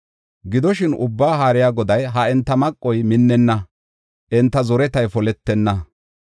Gidoshin, Ubbaa Haariya Goday, “Ha enta maqoy minnenna; enta zoretay poletenna.